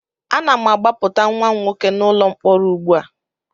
Ana m agbapụta nwa m nwoke n'ụlọ mkpọrọ ugbu a